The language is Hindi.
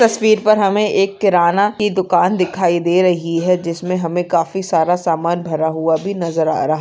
तस्वीर पर हमें एक किराना की दुकान दिखाई दे रही है जिसमें हमे काफी सारा सामान भरा हुआ भी नजर आ रहा।